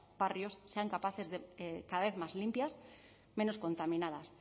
barrios sean cada vez más limpias menos contaminadas